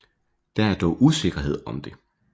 Der er dog usikkerhed om det